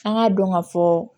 An k'a dɔn ka fɔ